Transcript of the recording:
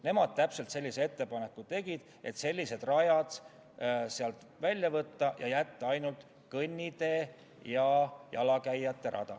Nemad täpselt sellise ettepaneku tegid, et sellised rajad eelnõust välja võtta ja jätta ainult kõnnitee ja jalakäijate rada.